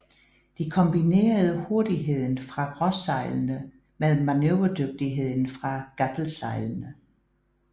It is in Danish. De kombinerede hurtigheden fra råsejlene med manøvredygtigheden fra gaffelsejlene